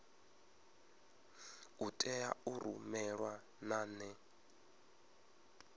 a tea u rumelwa nane